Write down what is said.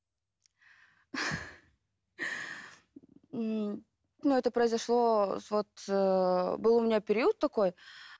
ммм ну это произошло вот ыыы был у меня период такой